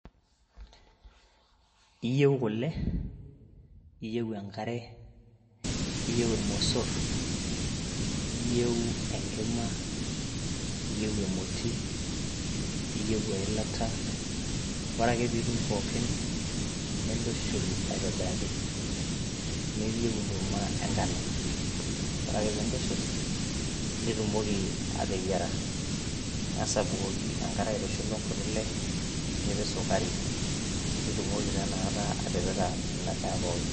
Iiyeu kule, iyeu enkare, iyeu imusur, iyeu enkima, iyeu emoti, iyeu ilata, ore ake piitum pookin niintushul aitobiraki, neaku uyeu enkurumwa engano ,ore ake piintushul nitumoki aateyara, ing'as abukoki enkare aitushulo nkuti ile nipik esukarai nitumoki taa inakata atipika ena daa pookin.